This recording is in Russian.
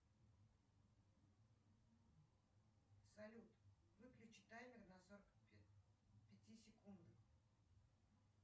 салют выключи таймер на сорок пяти секунд